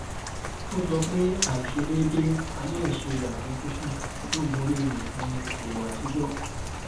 ó sọ pé àìṣedéédé àìlèṣeàfojúsùn ló borí òfin ìṣòwò àtijọ